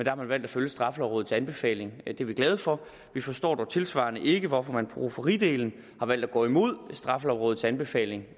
har man valgt at følge straffelovrådets anbefaling og det er vi glade for vi forstår dog tilsvarende ikke hvorfor man på rufferidelen har valgt at gå imod straffelovrådets anbefaling og